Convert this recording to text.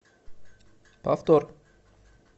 повтор